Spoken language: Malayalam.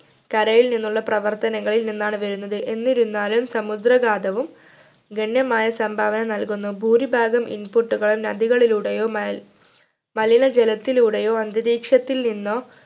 കരയിൽ നിന്നുള്ള പ്രവർത്തനങ്ങളിൽ നിന്നാണ് വരുന്നത് എന്നിരുന്നാലും സമുദ്രകാധവും ഗണ്യമായ സംഭാവന നൽകുന്നു ഭൂരിഭാഗം input കൾ നദികളിലൂടെയോ മാലി മലിനജലത്തിലൂടെയോ അന്തരീക്ഷത്തിൽ നിന്നോ